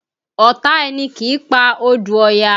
Ọ̀tá ẹni kì í pa odù Ọya